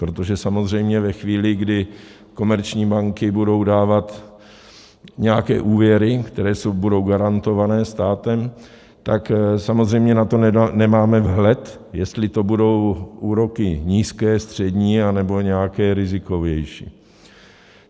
Protože samozřejmě ve chvíli, kdy komerční banky budou dávat nějaké úvěry, které budou garantované státem, tak samozřejmě na to nemáme vhled, jestli to budou úroky nízké, střední, anebo nějaké rizikovější.